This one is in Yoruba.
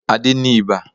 Adé ní ibà